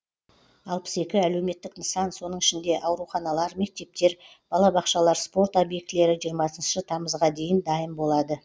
алпыс екі әлеуметтік нысан соның ішінде ауруханалар мектептер балабақшалар спорт объектілері жиырмасыншы тамызға дейін дайын болады